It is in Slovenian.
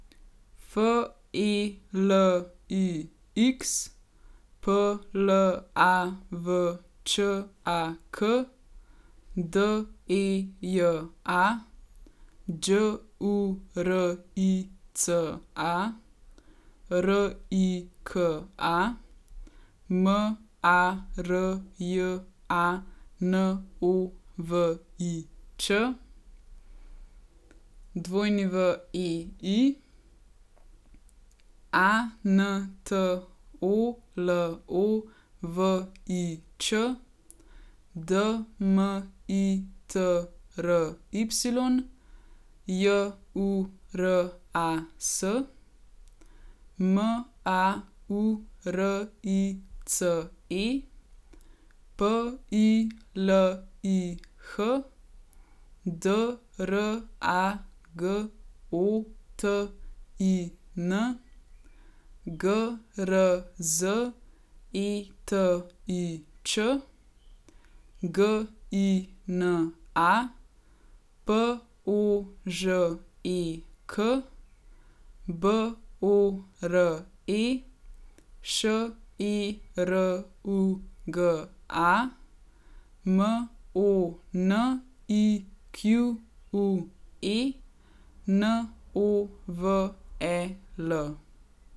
Felix Plavčak, Deja Đurica, Rika Marjanović, Wei Antolovič, Dmitry Juras, Maurice Pilih, Dragotin Grzetič, Gina Požek, Bore Šeruga, Monique Novel.